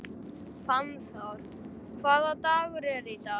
Fannþór, hvaða dagur er í dag?